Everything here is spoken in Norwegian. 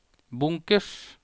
bunkers